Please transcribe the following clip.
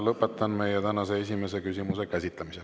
Lõpetan meie tänase esimese küsimuse käsitlemise.